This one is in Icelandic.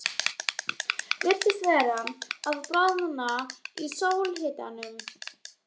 Virtist vera að bráðna í sólarhitanum.